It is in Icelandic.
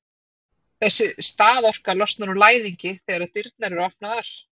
Þessi staðorka losnar úr læðingi þegar dyrnar eru opnaðar.